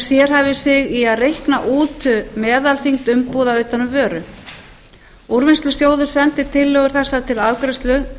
sérhæfir sig í að reikna út meðalþyngd umbúða utan um vöru úrvinnslusjóður sendir tillögur þessar til afgreiðslu